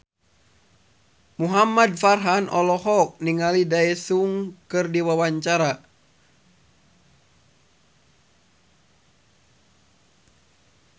Muhamad Farhan olohok ningali Daesung keur diwawancara